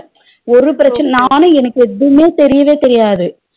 ஒரு பிரச்சனை நானு எனக்கு எதுவுமே தெரியவே தெரியாது